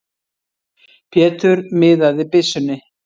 Pétur miðaði byssunni.